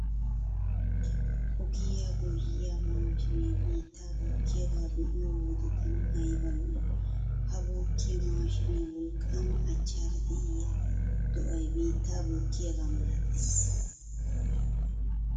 Ogiya goyyiya maashiinee biittaa bookkiyagaa be'iyo wode tana ayba lo"ii? Ha bookkiya maashiinee wolqqaama achchaara de'iya do'ay biittaa bookkiyagaa malatees.